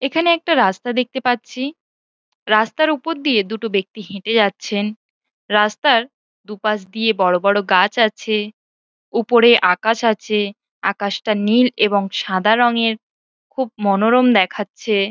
এইখানে একটা রাস্তা দেখতে পাচ্ছি রাস্তার ওপর দিয়ে দুটো ব্যক্তি হেটে যাচ্ছেন । রাস্তার দুপাশ দিয়ে বড় বড় গাছ আছে । ওপরে আকাশ আছে । আকাশটা নীল এবং সাদা রংয়ের । খুব মনোরম দেখাচ্ছে ।